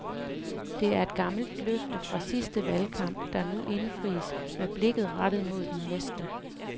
Det er et gammelt løfte fra sidste valgkamp, der nu indfries med blikket rettet mod den næste.